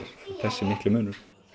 þessi mikli munur